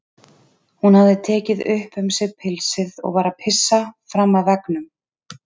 Hún hafði tekið upp um sig pilsið og var að pissa fram af veggnum.